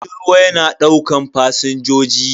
Jirgin ruwa yana daukan fasinjoji.